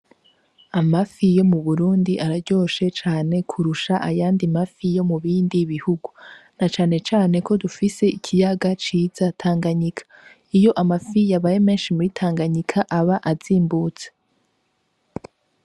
Amafi yo mu Burundi araryoshe cane kurusha ayandi mafi yo mu bindi bihugu, na cane cane ko dufise ikiyaga ciza Tanganyika. Iyo amafi yabaye menshi muri Tanganyika aba azimbutse.